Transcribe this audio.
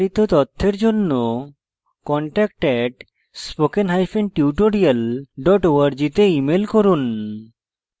বিস্তারিত তথ্যের জন্য contact @spokentutorial org তে ইমেল করুন